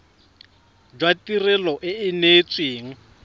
jwa tirelo e e neetsweng